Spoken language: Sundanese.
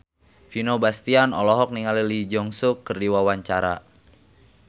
Vino Bastian olohok ningali Lee Jeong Suk keur diwawancara